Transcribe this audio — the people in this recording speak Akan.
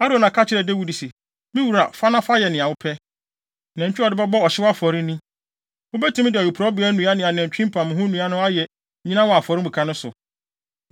Arauna ka kyerɛɛ Dawid se, “Me wura fa na fa yɛ nea wopɛ. Nantwi a wɔde bɛbɔ ɔhyew afɔre ni. Wubetumi de awiporowbea nnua ne nantwi mpamho nnua no ayɛ nnyina wɔ afɔremuka no so.